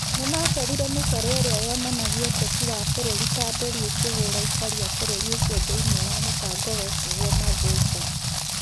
Nĩ macorire mĩcoro ĩrĩa yonanagia ũteti wa bũrũri ta nderi ikĩhũũra aikari a bũrũri ũcio thĩinĩ wa mũbango wetagwo 'maVultures'.